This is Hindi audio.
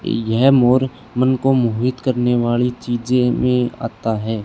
यह मोर मन को मोहित करने वाली चीजे में आता है।